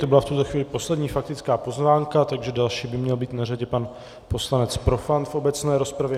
To byla v tuto chvíli poslední faktická poznámka, takže další by měl být na řadě pan poslanec Profant v obecné rozpravě.